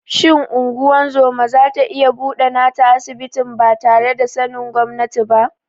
Shin ungozoma zata iya buɗe nata asibitin batare da sanin gwamnati ba?